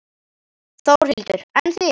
Þórhildur: En þið?